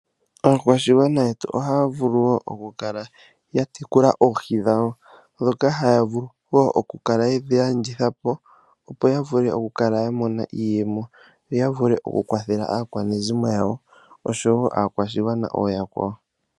Aakwashigwana yetu ohaya vulu okukala yatekula oohi dhawo , ndhoka haya vulu okukala yedhi landithapo opo yavule okukala yamona iiyemo, yo yavule okukwathela aakwanezimo yawo oshowo aakwashigwana ooyakwawo.